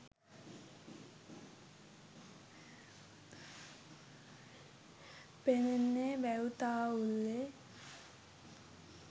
පෙනෙන්නේ වැව් තාවුල්ලේ